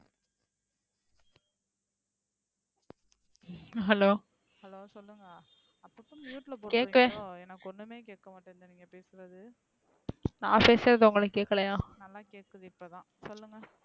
hello கேக்கவே நா பேசுறது உங்களுக்கு கேக்கலையா,